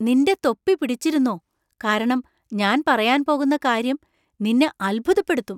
നിന്‍റെ തൊപ്പി പിടിച്ചിരുന്നോ , കാരണം ഞാൻ പറയാൻ പോകുന്ന കാര്യം നിന്നെ അത്ഭുതപ്പെടുത്തും .